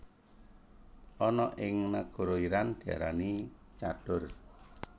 Ana ing nagara Iran diarani chador